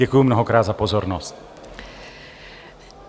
Děkuji mnohokrát za pozornost.